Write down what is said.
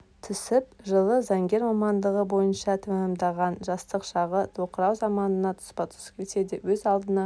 түсіп жылы заңгер мамандығы бойынша тәмамдаған жастық шағы тоқырау заманына тұспа-тұс келсе де өз алдына